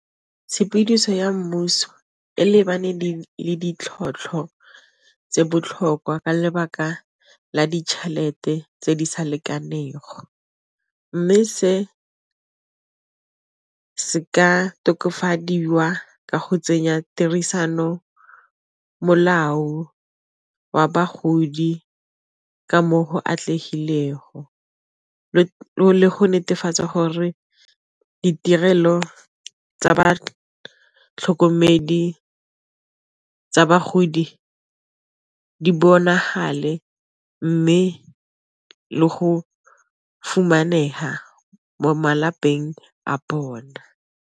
Tshepidiso ya mmuso e lebane ditlhotlhwa tse botlhokwa ka lebaka la ditšhelete tse di sa lekanego, mme se se ka tokafadiwa ka go tsenya tirisano molao wa bagodi ka mo go atlegilego le go netefatsa gore ditirelo tsa ba tlhokomedi tsa bagodi di bonagale mme le go fumaneha mo malapeng a bona.